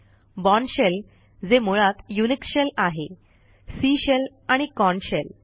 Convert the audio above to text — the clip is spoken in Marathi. बोर्न शेल जे मुळात युनिक्स शेल आहे सी शेल आणि कॉर्न शेल